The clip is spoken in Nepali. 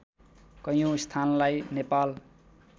कैयौँ स्थानलाई नेपाल